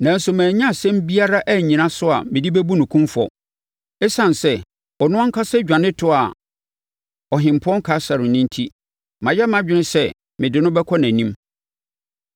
nanso mannya asɛm biara annyina so a mede bɛbu no kumfɔ. Esiane sɛ ɔno ankasa dwane toaa Ɔhempɔn Kaesare no enti, mayɛ mʼadwene sɛ mede no bɛkɔ nʼanim.